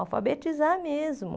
Alfabetizar mesmo.